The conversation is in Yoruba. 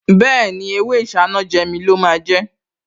Bẹ́ẹ̀ni, ewé Isanaje mi lọ máa jẹ́